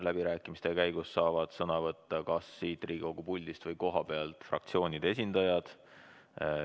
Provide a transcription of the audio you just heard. Läbirääkimiste käigus saavad sõna võtta kas siit Riigikogu puldist või kohapealt fraktsioonide esindajad.